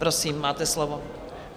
Prosím, máte slovo.